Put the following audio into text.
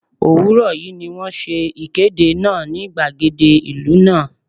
Òwúrọ̀ yí ni wón ṣe ìkéde náà ní gbàgede ìlú náà.